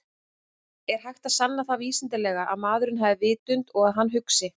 Er hægt að sanna það vísindalega að maðurinn hafi vitund og að hann hugsi?